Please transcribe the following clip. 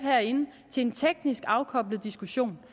til en teknisk afkoblet diskussion